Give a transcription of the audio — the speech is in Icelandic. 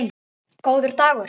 Góður dagur!